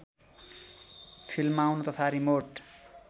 फिल्माउन तथा रिमोट